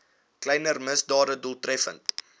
kleiner misdade doeltreffend